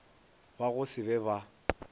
ba go se be ba